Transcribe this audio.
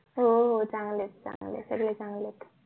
हो हो चांगलेत चांगलेत सगळे चांगलेत